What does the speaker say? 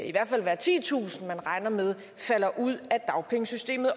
i hvert fald være titusind man regner med falder ud af dagpengesystemet